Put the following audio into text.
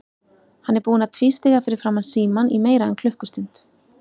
Hann er búinn að tvístíga fyrir framan símann í meira en klukkustund.